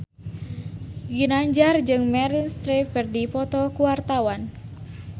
Ginanjar jeung Meryl Streep keur dipoto ku wartawan